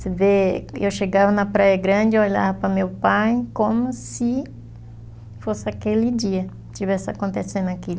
Você vê, eu chegava na praia grande, olhava para meu pai como se fosse aquele dia, tivesse acontecendo aquilo.